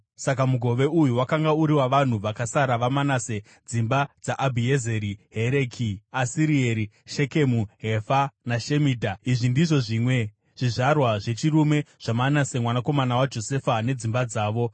Saka mugove uyu wakanga uri wavanhu vakasara vaManase dzimba dzaAbhiezeri, Hereki, Asirieri, Shekemu, Hefa naShemidha. Izvi ndizvo zvimwe zvizvarwa zvechirume zvaManase mwanakomana waJosefa nedzimba dzavo.